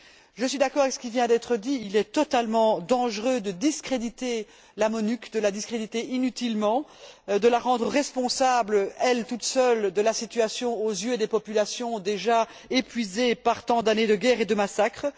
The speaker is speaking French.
Je suis d'accord avec ce qui vient d'être dit il est totalement dangereux de discréditer la MONUC, de la discréditer inutilement, de la rendre responsable, à elle seule, de la situation aux yeux des populations déjà épuisées par tant d'années de guerre et de massacres.